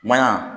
Maɲa